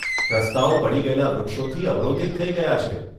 રસ્તાઓ પડી ગયેલાં વૃક્ષોથી અવરોધિત થઈ ગયા છે.